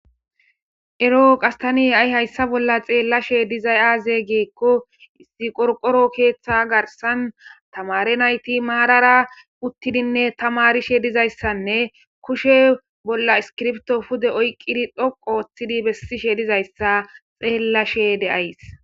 ero qas tani ha'i hayssa bolla xeellashe dizay aaze giikko izi qorqoro keeththa garsan tamare nayti maarara uttidinne tamarishe dizayssanne kushe bolla iskirpto pude oyqqidi dhoqo oththidi bessishe dizayssa xeellashe de'ays